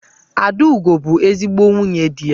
Adaugo bu ezigbo nwunye di ya.